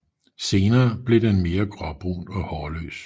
Senere bliver den mere gråbrun og hårløs